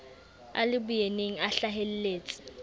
a le boyeneng a hlaheletse